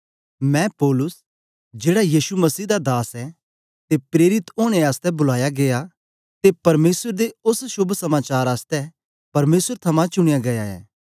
मैं पौलुस जेड़ा यीशु मसीह दास ऐ ते प्रेरित ओनें आसतै बुलाया गीया ते परमेसर दे ओस शोभ समाचार आसतै परमेसर थमां चुनयां गीया ऐ